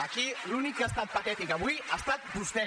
aquí l’únic que ha estat patètic avui ha estat vostè